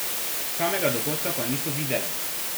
Samega dogodka pa niso videle.